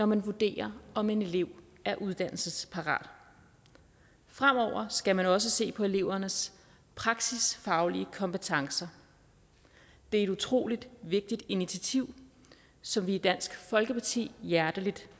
man vurderer om en elev er uddannelsesparat fremover skal man også se på elevernes praksisfaglige kompetencer det er et utrolig vigtigt initiativ som vi i dansk folkeparti hjerteligt